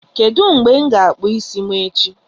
Kedụ ebe m ga-akpu isi echi?